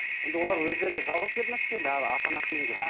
енді олар өздері жалғыз келді ме сізге әлде ата анасымен келді ме